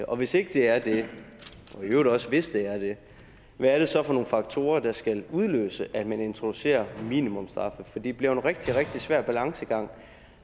og hvis ikke det er det og i øvrigt også hvis det er det hvad er det så for nogle faktorer der skal udløse at man introducerer minimumsstraffe for det bliver en rigtig rigtig svær balancegang